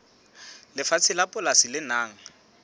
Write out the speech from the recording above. lefatshe la polasi le nang